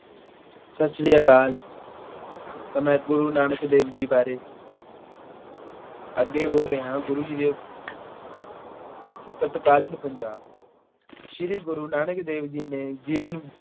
ਸਤਿ ਸ੍ਰੀ ਅਕਾਲ। ਮੈਂ ਗੁਰੂ ਨਾਨਕ ਦੇਵ ਜੀ ਬਾਰੇ ਅੱਗੇ ਬੋਲ ਰਿਹਾਂ। ਗੁਰੂ ਜੀ ਦੇ ਤਤਕਾਲੀਨ ਪੰਜਾਬ। ਸ੍ਰੀ ਗੁਰੂ ਨਾਨਕ ਦੇਵ ਜੀ ਦੇ ਜੀਵਨ